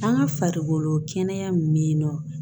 An ka farikolo kɛnɛya min bɛ yen nɔ